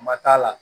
Ma t'a la